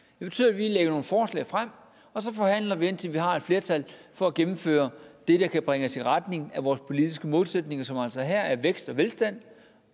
betyder at vi lægger nogle forslag frem og så forhandler vi indtil vi har et flertal for at gennemføre det der kan bringe os i retning af vores politiske målsætninger som altså her er vækst og velstand